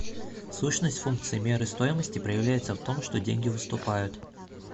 сущность функции меры стоимости проявляется в том что деньги выступают